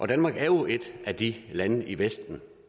danmark er jo et af de lande i vesten